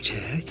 Milçək?